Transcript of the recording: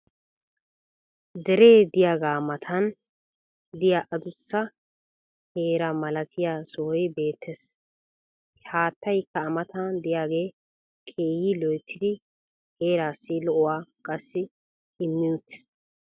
deree diyaagaa matan diya adussa kera malattiya sohoy beetees. haattaykka a matan diyaagee keehi loyttidi heeraassi lo'uwa qassi immi uttiis.